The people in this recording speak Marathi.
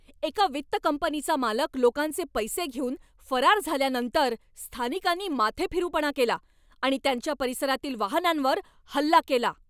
एका वित्त कंपनीचा मालक लोकांचे पैसे घेऊन फरार झाल्यानंतर स्थानिकांनी माथेफिरूपणा केला आणि त्यांच्या परिसरातील वाहनांवर हल्ला केला.